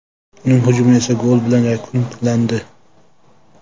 Uning hujumi esa gol bilan yakunlandi.